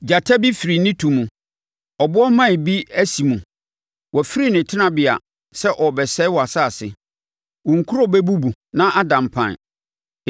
Gyata bi afiri ne tu mu; ɔbɔaman bi asi mu. Wafiri ne tenabea sɛ ɔrebɛsɛe wʼasase. Wo nkuro bɛbubu na ada mpan.